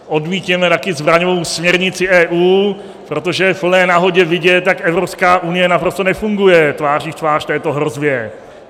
Odmítněme také zbraňovou směrnici EU, protože je v plné nahotě vidět, jak Evropská unie naprosto nefunguje tváří v tvář této hrozbě.